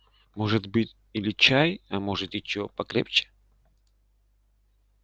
может быть или чай а может и чего покрепче